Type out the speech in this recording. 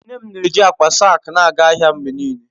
Nne m na-eji akpa saak na-aga ahịa mgbe niile.